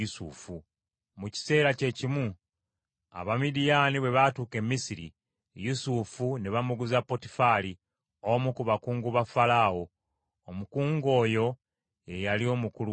Mu kiseera kyekimu Abamidiyaani bwe baatuuka e Misiri, Yusufu ne bamuguza Potifali, omu ku bakungu ba Falaawo; omukungu oyo ye yali omukulu wa bambowa.